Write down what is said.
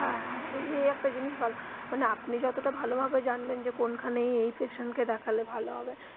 হ্যা হ্যা এই একটা জিনিস ভালো মানে আপনি যতটা ভালো ভাবে জানবেন যে কোনখানে এই patient কে দেখালে ভালো হবে.